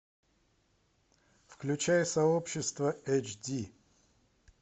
включай сообщество эйчди